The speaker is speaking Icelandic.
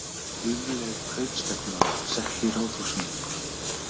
Lífleg kaupstefna sett í Ráðhúsinu